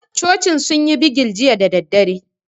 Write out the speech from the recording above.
Cocin sun yi bigil jiya da daddare